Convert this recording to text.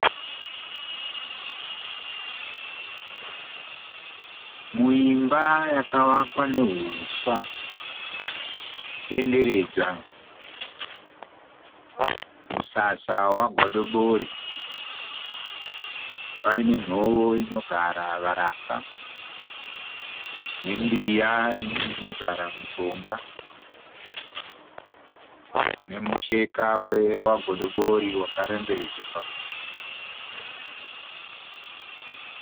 Muimba yakavakwa nehuswa denderedzwa. Musasa wagodobori paine nyovo inogara varapwa nembiya inogara mishonga nemucheka wagodobori wakarembedzwa pamuti.